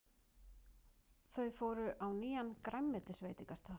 Þau fóru á nýjan grænmetisveitingastað.